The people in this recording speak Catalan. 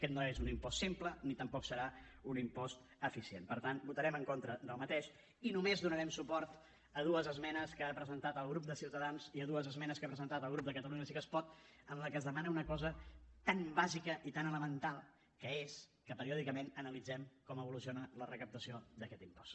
aquest no és un impost simple ni tampoc serà un impost eficient per tant votarem en contra d’aquest i només donarem suport a dues esmenes que ha presentat el grup de ciutadans i a dues esmenes que ha presentat el grup de catalunya sí que es pot en les que es demana una cosa tan bàsica i tan elemental que és que periòdicament analitzem com evoluciona la recaptació d’aquest impost